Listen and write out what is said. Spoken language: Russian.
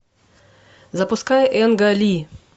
запускай энга ли